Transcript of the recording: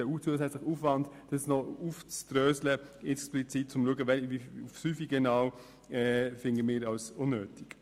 Den zusätzlichen Aufwand, diese auf den Fünfer genau aufzudröseln, halten wir für unnötig.